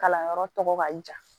Kalanyɔrɔ tɔgɔ ka jan